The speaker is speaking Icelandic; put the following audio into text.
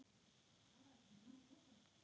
Einu sinni, já.